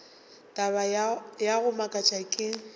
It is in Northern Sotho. taba ya go makatša ke